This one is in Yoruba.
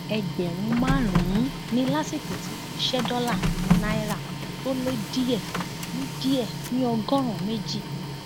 ẹgbẹrún márùnún ni lásìkò tí wọn ń ṣe dọlà ní náírà tó lé díẹ ní díẹ ní ọgọrùnún méjì